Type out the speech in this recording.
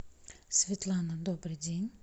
светлана добрый день